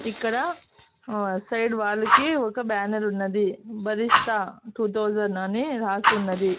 ఇక్కడ uh side wall కి ఒక బ్యానర్ ఉన్నది భరిస్తా టు థౌసండ్ అని రాసి ఉన్నది.